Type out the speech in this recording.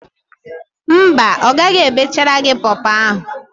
Mba, ọ ghaghị ebechara gị pọọpọọ ahụ.